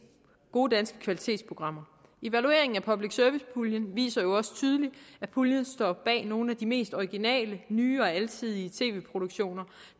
gode danske kvalitetsprogrammer evalueringen af public service puljen viser jo også tydeligt at puljen står bag nogle af de mest originale nye og alsidige tv produktioner